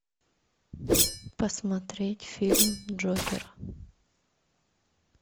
посмотреть фильм джокер